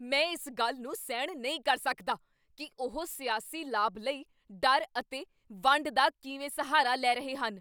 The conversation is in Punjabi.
ਮੈਂ ਇਸ ਗੱਲ ਨੂੰ ਸਹਿਣ ਨਹੀਂ ਕਰ ਸਕਦਾ ਕੀ ਉਹ ਸਿਆਸੀ ਲਾਭ ਲਈ ਡਰ ਅਤੇ ਵੰਡ ਦਾ ਕਿਵੇਂ ਸਹਾਰਾ ਲੈ ਰਹੇ ਹਨ।